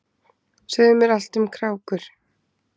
Segðu mér allt um krákur.